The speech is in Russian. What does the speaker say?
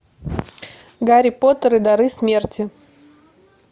гарри поттер и дары смерти